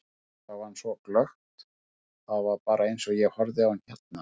Ég sá hann svo glöggt, það var bara eins og ég horfi á þig hérna.